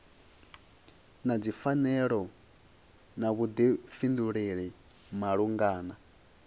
na dzipfanelo na vhuḓifhinduleli malugana